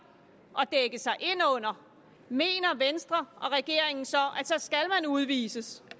at dække sig ind under mener venstre og regeringen så at udvises